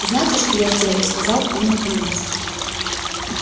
знаете что я сделаю сказал он наконец